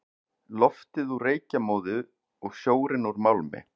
Loftið úr reykjarmóðu og sjórinn úr málmi.